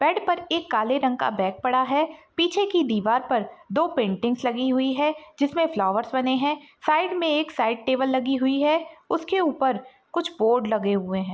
Bed पर एक काले रंग का बैग पड़ा हुआ है पीछे की दीवार पर दो पेंटिंग्स लगी हुई है जिसमें फ्लावर्स बने है साइड में एक साइड टेबल लगी हुई है उसके ऊपर कुछ बोर्ड लगे हुए है।